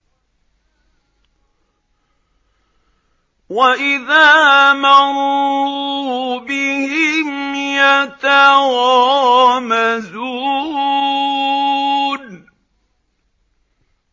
وَإِذَا مَرُّوا بِهِمْ يَتَغَامَزُونَ